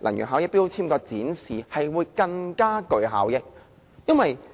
能源標籤的展示更具效益。